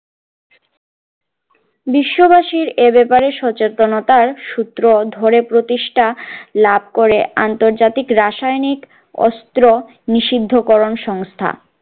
বিশ্ববাসি এ বাপারে সচেতনতার সুত্র ধরে প্রতিষ্ঠা লাভ করে আন্তর্জাতিক রাসায়নিক অস্ত্র নিষিদ্ধকরণ সংস্থা